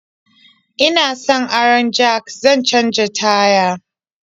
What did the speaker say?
Ina son aron jak zan canja taya.